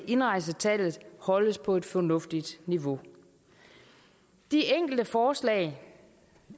indrejsetallet holdes på et fornuftigt niveau de enkelte forslag